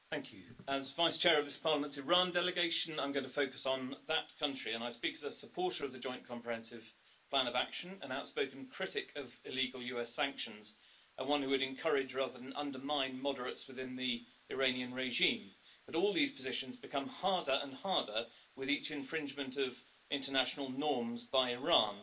Mr President, as Vice-Chair of this Parliament's Iran delegation, I'm going to focus on that country, and I speak as a supporter of the Joint Comprehensive Plan of Action, an outspoken critic of illegal US sanctions and one who would encourage, rather than undermine, moderates within the Iranian regime. But all these positions become harder and harder with each infringement of international norms by Iran.